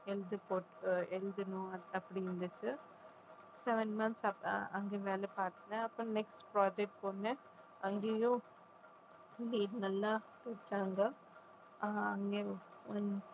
எழுதி போட்~ எழுதணும் அப்படின்னு இருந்துச்சு seven months அங்க வேலை பார்த்தேன் அப்புறம் next project போனேன் அங்கேயும்